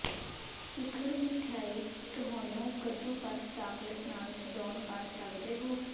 ਸਿਖਰ ਮਿਠਆਈ ਤੁਹਾਨੂੰ ਕੱਦੂਕਸ ਚਾਕਲੇਟ ਨਾਲ ਸਜਾਉਣ ਕਰ ਸਕਦੇ ਹੋ